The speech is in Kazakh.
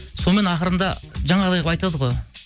сонымен ақырында жаңағыдай қылып айтады ғой